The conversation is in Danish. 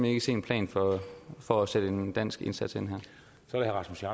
ikke se en plan for at sætte en dansk indsats ind